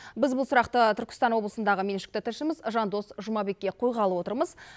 біз бұл сұрақты түркістан облысындағы меншікті тілшіміз жандос жұмабекке қойғалы отырмыз